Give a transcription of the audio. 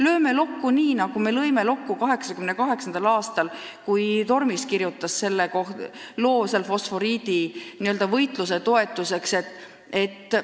Lööme lokku nii, nagu me lõime lokku 1988. aastal, kui Tormis kirjutas selle loo fosforiidivastase võitluse toetuseks!